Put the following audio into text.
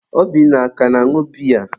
Obinna a ka na-añụ biya?